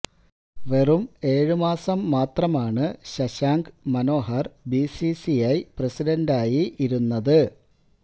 വെറും ഏഴ് മാസം മാത്രമാണ് ശശാങ്ക് മനോഹർ ബിസിസിഐ പ്രെസിഡന്റ്ായി ഇരുന്നത്